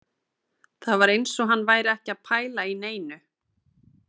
Það var eins og hann væri ekki að pæla í neinu